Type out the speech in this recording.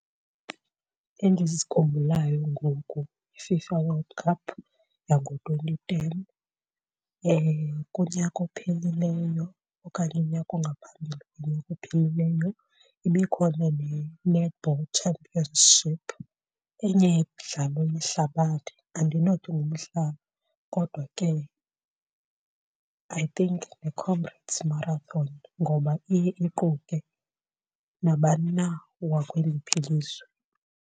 Endizikhumbulayo ngoku yi-FIFA World Cup yango-twenty ten. Kunyaka ophelileyo okanye unyaka ongaphambili konyaka ophelileyo ibikhona ne-netball championship. Enye yemidlalo yehlabathi, andinothi ngumdlalo kodwa ke I think yiComrades Marathon ngoba iye iquke nabani na wakweliphi ilizwe.